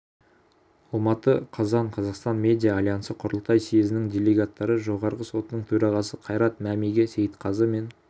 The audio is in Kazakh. алматы қазан қазақстан медиа альянсы құрылтай съезінің делегаттары жоғарғы сотының төрағасы қайрат мәмиге сейітқазы мен